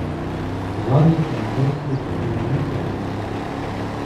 Zadnjica in prsi in lica in vse.